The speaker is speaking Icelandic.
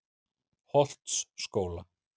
Holtsskóla